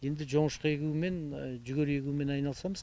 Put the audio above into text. енді жоңышқа егумен жүгері егумен айналысамыз